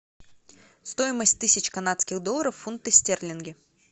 стоимость тысячи канадских долларов в фунты стерлинги